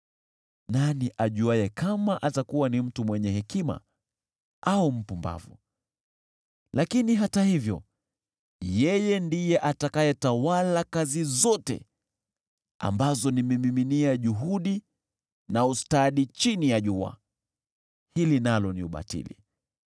Nani ajuaye kama atakuwa ni mtu mwenye hekima au mpumbavu? Lakini hata hivyo yeye ndiye atakayetawala kazi zote ambazo nimemiminia juhudi na ustadi chini ya jua. Hili nalo ni ubatili.